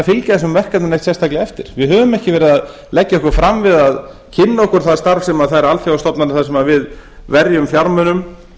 fylgja þessum verkefnum neitt sérstaklega eftir við höfum ekki verið að leggja okkur fram við að kynna okkur það starf sem þær alþjóðastofnanir sem við verjum fjármunum